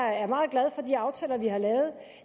er meget glad for de aftaler vi har lavet